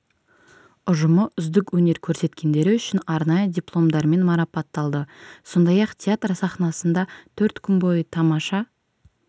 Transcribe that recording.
ұжымы үздік өнер көрсеткендері үшін арнайы дипломдармен марапатталды сондай-ақ театр сахнасында төрт күн бойы тамаша